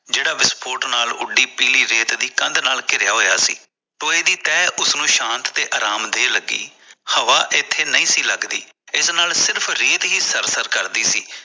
ਜਿਹੜਾ ਵਿਸਫੋਟ ਨਾਲ ਉਡੀ ਪੀਲੀ ਰੇਤ ਨਾਲ ਘੇਰਿਆ ਹੋਇਆ ਸੀ ਟੋਏ ਦੀ ਤੈਅ ਉਸਨੂੰ ਸ਼ਾਂਤ ਤੇ ਅਰਾਮ ਦੇਣ ਲਗੀ ਹਵਾ ਇਥੇ ਨਹੀਂ ਸੀ ਲਗਦੀ ਇਹਦੇ ਨਾਲ ਸਿਰਫ਼ ਰੇਤ ਹੀ ਸਰ ਸਰ ਕਰਦੀ ਸੀ